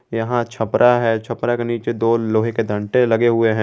यहां छपरा है छपरा के नीचे दो लोहे के डंटे लगे हुए हैं।